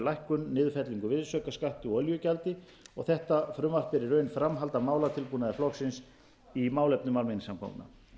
lækkun niðurfellingu virðisaukaskatti og olíugjaldi þetta frumvarp er í raun framhald af málatilbúnaði flokksins í málefnum almenningssamgangna